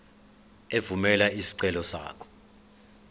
evumela isicelo sakho